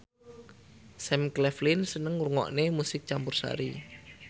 Sam Claflin seneng ngrungokne musik campursari